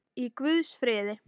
Í guðs friði.